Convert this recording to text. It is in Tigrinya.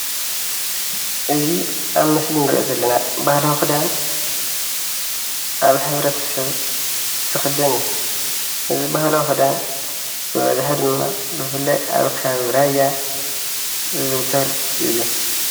እዚ ኣብ ምስሊ እንሪኦ ዘለና ባህላዊ ክዳን ኣብ ሕብረተሰብ ዝክደን እዩ፡፡ እዚ ባህላዊ ክዳን ብኣብዝሓ ድማ ብፍላይ ኣብ ከባቢ ራያ ዝዝውተር እዩ፡፡